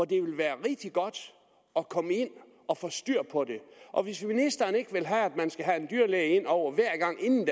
det ville være rigtig godt at komme ind og få styr på og hvis ministeren ikke vil have at man skal have en dyrlæge indover hver gang inden